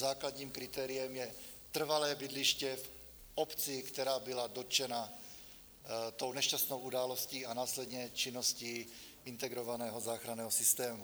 Základním kritériem je trvalé bydliště v obci, která byla dotčena tou nešťastnou událostí a následně činností Integrovaného záchranného systému.